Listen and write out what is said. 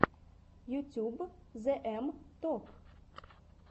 ютюб зээм топ